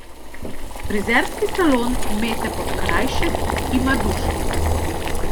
Frizerski salon Mete Podkrajšek ima dušo.